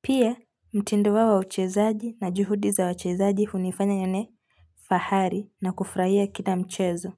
pia mtindo wao wa uchezaji na juhudi za wachezaji hunifanya nione fahari na kufurahia kila mchezo.